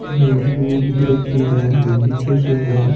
दुब उग रखी है बगीचों सो है।